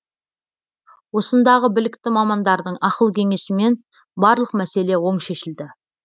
осындағы білікті мамандардың ақыл кеңесімен барлық мәселе оң шешілді